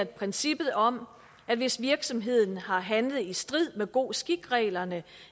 princippet om at hvis virksomheden har handlet i strid med god skik reglerne